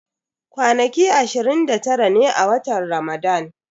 Kwanaki ashirin da tara ne a watan Ramadan.